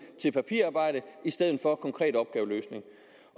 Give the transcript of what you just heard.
til papirarbejde i stedet for til konkrete opgaveløsninger